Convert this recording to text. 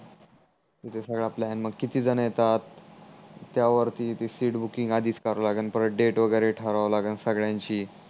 तिथे सगडा प्लान मग किती झण येतात त्यावरती ती सीट बूक आधीच करा लागण परत डेटा वगेरे ठरवा लागेल संगड्यांची